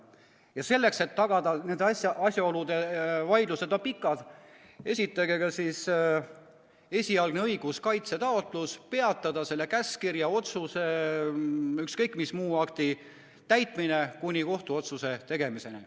Vaidlused on pikad ja seepärast esitage ka esialgne õiguskaitse taotlus, et peatataks selle käskkirja, otsuse või ükskõik mis muu õigusakti täitmine kuni kohtuotsuse tegemiseni.